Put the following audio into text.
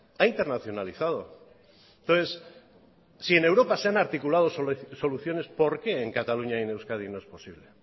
ha internacionalizado entonces si en europa se han articulado soluciones por qué en cataluña y en euskadi no es posible